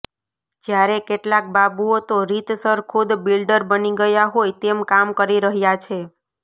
જ્યારે કેટલાંક બાબુઓ તો રીતસર ખુદ બિલ્ડર બની ગયા હોય તેમ કામ કરી રહ્યાં છે